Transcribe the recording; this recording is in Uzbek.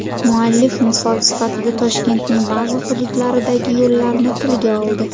Muallif misol sifatida Toshkentning ba’zi hududlaridagi yo‘llarni tilga oldi.